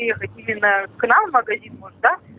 или ехать или на к нам в магазин может да